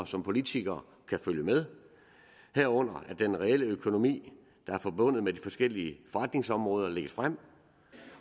som politikere kan følge med herunder at den reelle økonomi der er forbundet med de forskellige forretningsområder lægges frem